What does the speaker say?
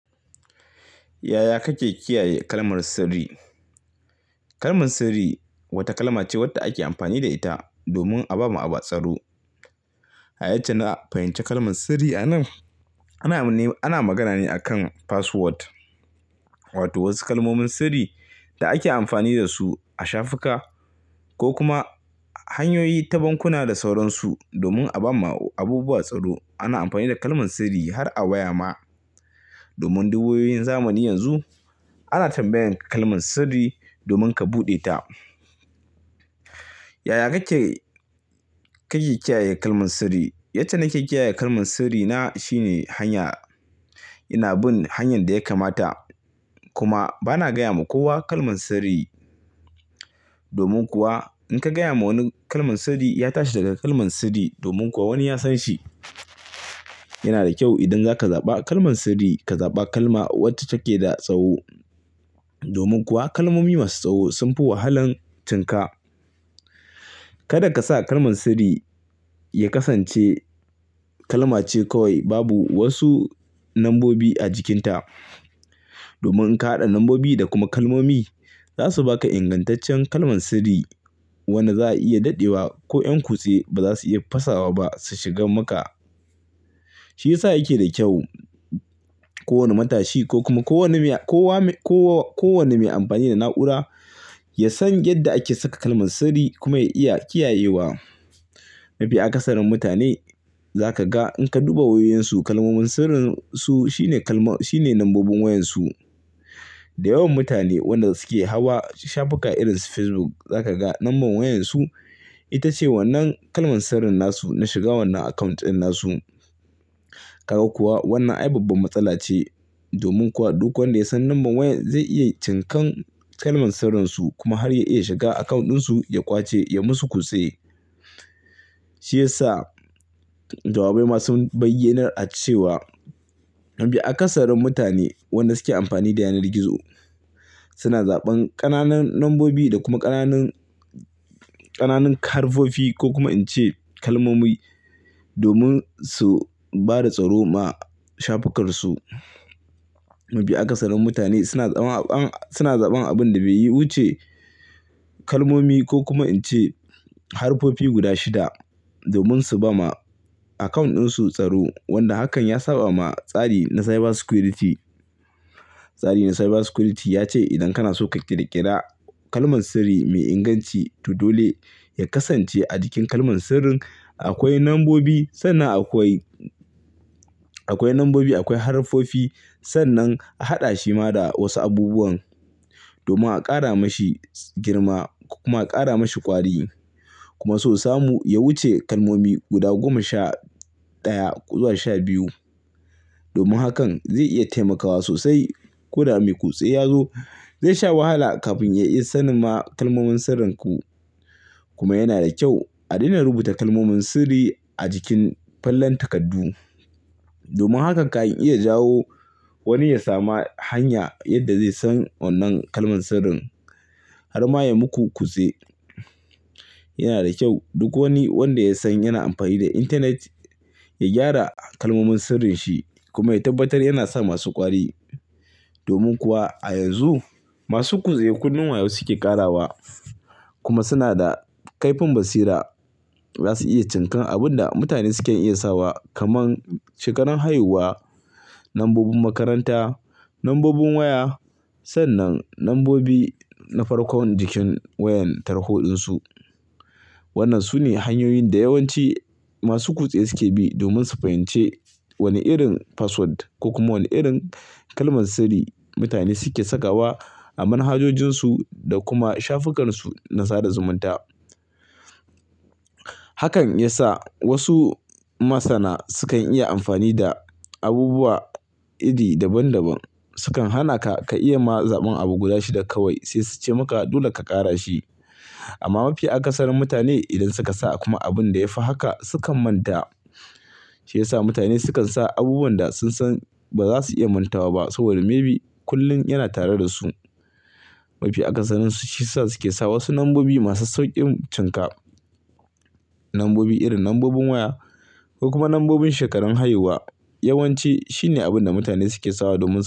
Yaya kake kiyaye kalmar sirri? Kalmar sirri wata kalma ce wadda ake amfani da ita domin a bama abu tsaro. Yace na a fahimci kalmar sirri a nan? Ana magana ne akan password, wato wasu kalmomin sirri da ake amfani da su a shafuka ko kuma hanyoyi ta bankuna da sauransu. Domin a bamu abubuwa tsaro, ana amfani da kalmar sirri har a waya ma. Domin duk wayoyin zamani yanzu ana tambayan kalmar sirri domin ka buɗe ta. Yaya kake kiyaye kalmar sirri? Yace nake kiyaye kalmar sirri na shine hanya ina bin hanyar da ya kamata. Kuma bana gaya ma kowa kalmar sirri. Domin kuwa in ka gaya ma wani kalmar sirri, ya tashi daga kalmar sirri. Domin kuwa wani ya san shi. Yana da kyau idan zaka zaɓa kalmar sirri, ka zaɓa kalma wacce take da tsaho. Domin kuwa kalmomi masu tsaho sun fi wahalan cinka. Kada ka sa kalmar sirri ya kasance kalma ce kawai, babu wasu lambobi a jikinta. Domin in ka haɗa lambobi da kuma kalmomi, za su baka ingantaccen kalmar sirri wanda za a iya daɗewa ko ƴan kutse ba za su iya fasawa ba su shigan maka. Shi yasa yake da kyau kowane matashi ko kuma kowane mai amfani da na'ura ya san yadda ake saka kalmar sirri kuma ya iya kiyayewa. Mafi akasarin mutane zaka ga in ka duba wayoyinsu kalmomin sirrin su shi ne kal shine lambobin wayan su. Da yawan mutane wanda suke hawa shafuka irin su Facebook, zaka ga lambar wayan su ita ce wannan kalmar sirrin nasu na shiga wannan account ɗin nasu. Kaga kuwa wannan ai babbar matsala ce. Domin kuwa duk wanda ya san lambar wayan zai iya cinkan kalmar sirrinsu kuma har ya iya shiga account ɗinsu, ya ƙwace, ya musu kutse. Shi yasa jawabai masu baiyynar nla ce wa mafi akasarin mutane wanda suke amfani da yanar gizo suna zaɓan ƙananan lambobi da kuma ƙananan harfofi ko kuma ince kalmomi domin su bada tsaro ma shafukan su. Mafi akasarin mutane suna zaɓan abin da bai yi wuce kalmomi ko kuma ince harfofi guda shida domin su bama account ɗin su tsaro. Wanda hakan ya saɓa ma tsari na cyber security. Tsarin na cyber security ya ce idan kana so ka ƙirƙira kalmar sirri mai inganci, to dole ya kasance a jikin kalmar sirrin akwai lambobi, sannan akwai harfofi. Sannan a haɗa shi ma da wasu abubuwan domin a ƙara mashi girma kuma a ƙara mashi ƙwari. Kuma sosai mu ya wuce kalmomi guda goma sha ɗaya zuwa sha biyu. Domin hakan zai iya taimakawa sosai. Ko da mai kutse ya zo, zai sha wahala kafin ya iya sanin ma kalmomin sirrinku. Kuma yana da kyau a daina rubuta kalmomin sirri a jikin fallar takaddu. Domin hakan ka iya jawo wani ya sami hanya yadda zai san wannan kalmar sirrin har ma ya muku kutse. Yana da kyau duk wani wanda ya san yana amfani da intanet, ya gyara kalmomin sirrin shi kuma ya tabbatar yana sa masu ƙwari. Domin kuwa a yanzu, masu kutse kullum wayo suke ƙarawa kuma suna da kaifin basira. Za su iya cinkan abun da mutane sukan iya sawa kamar shekarun haihuwa, lambobin makaranta, lambobin waya, sannan lambobi na farkon jikin wayan tarho ɗin su. Wannan su ne hanyoyin da yawanci masu kutse suke bi domin su fahimci wane irin password ko kuma wane irin kalmar sirri mutane suke sakawa a manhajojin su da kuma shafukan su na sada zumunta. Hakan ya sa wasu masana sukan iya amfani da abubuwa iri daban daban. Sukan hana ka, ka iya ma zaɓan abu guda shida kawai. Sai su ce maka dole ka ƙara shi. Amma mafi akasarin mutane idan suka sa kuma abun da ya fi haka, sukan manta. Shi yasa mutane sukan sa abubuwan da sun san ba za su iya mantawa ba. Saboda maybe kullum yana tare da su. Mafi akasarin su shi sa suke sawa wasu lambobi masu sauƙin cinka. Lambobi irin lambobin waya ko kuma lambobin shekarun haihuwa. Yawanci shine abin da mutane suke sawa domin su.